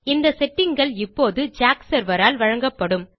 இந்த settingகள் இப்போது ஜாக் செர்வர் ஆல் வழங்கப்படும்